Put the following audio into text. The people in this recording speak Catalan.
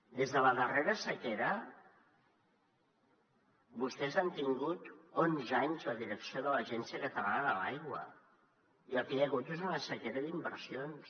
des de la darrera sequera vostès han tingut onze anys la direcció de l’agència catalana de l’aigua i el que hi ha hagut és una sequera d’inversions